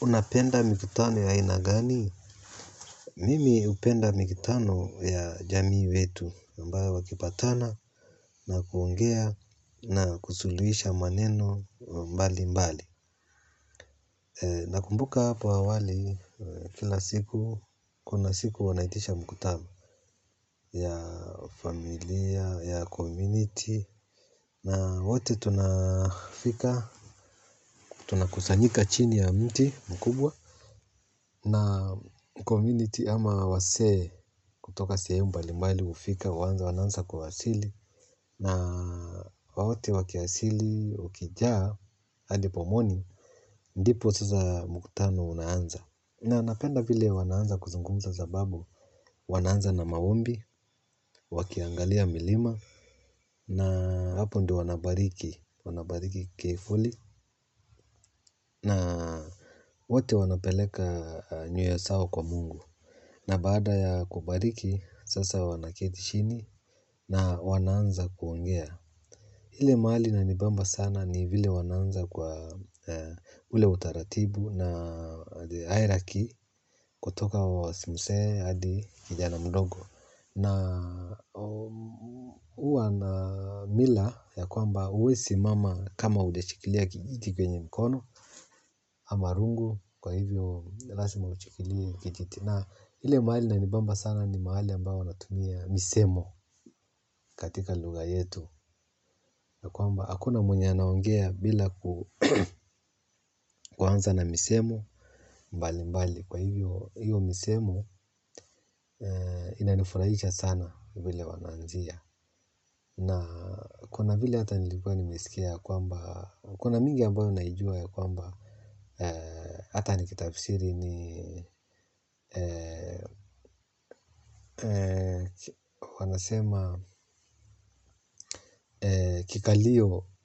Unapenda mikutano ya aina gani? Mimi hupenda mikutano ya jamii wetu ambayo wakipatana na kuongea na kusuluhisha maneno mbali mbali nakumbuka hapo awali kuna siku wanaitisha mkutano ya familia ya community na wote tunafika. Tunakusanyika chini ya mti mkubwa. Na community ama wazee kutoka sehemu mbali mbali hufika wananza kuwasili na woti wakiasili ukijaa hadi pomoni ndipo sasa mkutano unaanza. Na napenda vile wanaanza kuzungumza sababu wanaanza na maombi, wakiangalia milima na hapo ndo wanabariki, wanabariki keifuli na wote wanapeleka nyoyo zao kwa Mungu. Na baada ya kubariki, sasa wanaketi chini na wanaanza kuongea. Ile mahali inanibamba sana ni vile wanaanza kwa ule utaratibu na airaki kutoka wa mzee hadi kijana mdogo. Na huwa na mila ya kwamba uwe simama kama hujashikilia kijiti kwenye mkono ama rungu kwa hivyo laima ushikilie kijiti. Na ile mahali inanibamba sana ni mahali ambayo wanatumia misemo katika lugha yetu. Kwamba hakuna mwenye anaongea bila kuanza na misemo mbali mbali. Kwa hivyo hiyo misemo inanifurahisha sana vile wanaanzia. Na kuna vile hata nilikuwa nimesikia kwamba kuna mingi ambayo naijua kwamba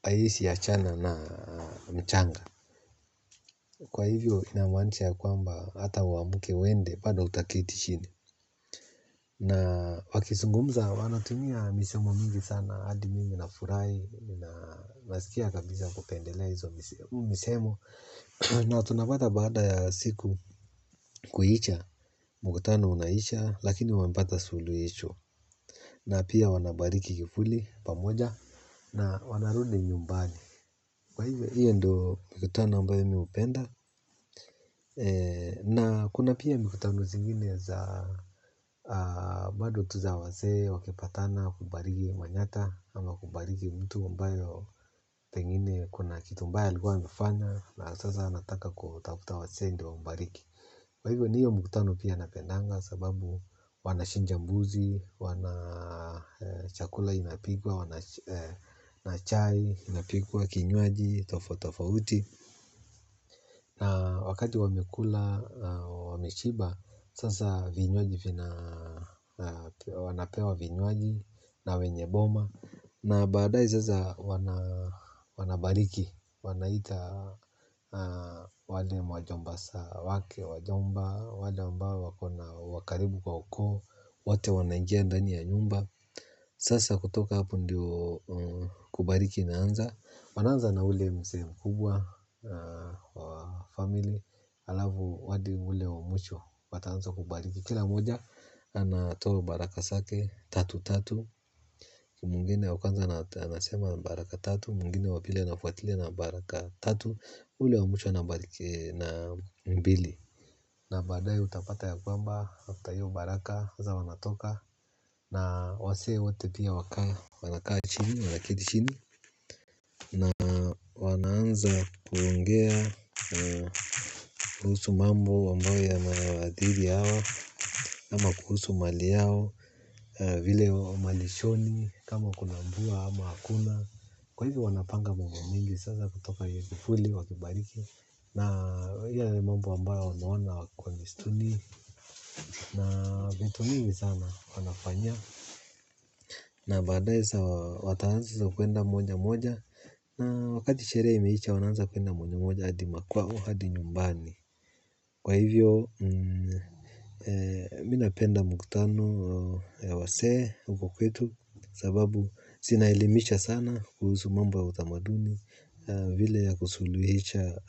Aisi ya chana na mchanga. Kwa hivyo ina maanisha ya kwamba hata uamke uende bado utaketi chini. Na wakizungumza wanatumia misemo mingi sana hadi mimi na furahi. Nasikia kabisa kupendele hizo misemo. Na tunapata baada ya siku kuisha mkutano unaisha. Lakini wamepata suluhisho. Na pia wanabariki kivuli pamoja na wanarudi nyumbani. Kwa hivyo hiyo mkutano ambayo mi hupenda. Na kuna pia mkutano zingine za bado tu za wazee wakipatana kubariki mwanyata ama kubariki mtu ambayo pengine kuna kitu mbaya alikuwa amefanya na sasa anataka kutafuta wazee ndo wambariki kwa hivyo ndiyo mkutano pia napendaga sababu wanachinja mbuzi, chakula inapikwa, na chai inapikwa, kinywaji tofauti tofauti. Na wakati wamekula, wameshiba, sasa vinywaji, wanapewa vinywaji na wenye boma. Na badae sasa wanabariki. Wanaita wale majombasa wake wajomba, wale ambao wakaribu kwa ukoo. Wote wanaingia ndani ya nyumba. Sasa kutoka hapo ndio kubariki inaanza. Wanaanza na ule mzee mkubwa wa family. Alafu hadi ule wa mwisho. Wataanza kubariki. Kila moja anatoa baraka zake tatu tatu. Mwngine wa kwanza anasema baraka tatu. Mwingine wapili anafuatia na baraka tatu. Ule wa mwisho anabaliki na mbili. Na badae utapata ya kwamba after hiyo baraka waza wanatoka. Na wasee wote pia. Wanakaa chini, wanaketi chini. Na wanaanza kuongea. Kuhusu mambo amabayo yanawaathiri hawa kama kuhusu mali yao. Vile wa malishoni kama kuna mvua ama hakuna kwa hivyo wanapanga mambo mingi sasa kutoka hivyo kivuli wakibariki na hivyo mambo ambayo wameona kwa mistuni na vitu mingi sana wanafanya na baadae wataanza kwenda moja moja na wakati sherehe imeisha wanaanza kwenda moja moja hadi makwao hadi nyumbani kwa hivyo mi napenda muktano ya wazee huko kwetu sababu zinaelimisha sana kuhusu mambo ya utamaduni vile ya kusuluhisha.